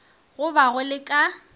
go ba go le ka